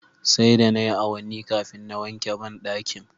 Sai da nayi awanni kafin na wanke bandakin